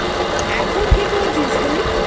এখন কি করছিস তুই?